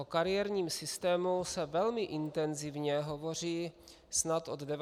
O kariérním systému se velmi intenzivně hovoří snad od 90. let.